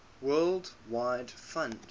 world wide fund